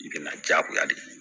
I bɛna jagoya de ye